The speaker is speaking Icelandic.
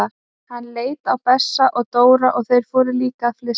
Hann leit á Bessa og Dóra og þeir fóru líka að flissa.